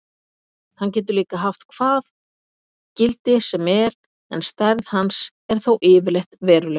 Hann getur líka haft hvað gildi sem er en stærð hans er þó yfirleitt veruleg.